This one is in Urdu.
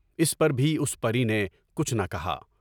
اس پر بھی اُس پری نے کچھ نہ کہا۔